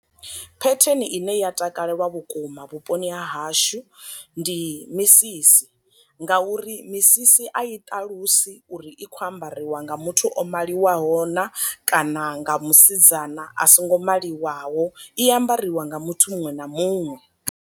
Phetheni ine ya takalelwa vhukuma vhuponi ha hashu ndi misisi, nga uri misisi a i ṱalusi uri i kho ambariwa nga muthu o maliwaho na kana nga musidzana a songo maliwaho, i ambariwa nga muthu muṅwe na muṅwe.